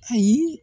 Ayi